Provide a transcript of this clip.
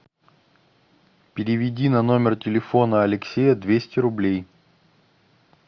переведи на номер телефона алексея двести рублей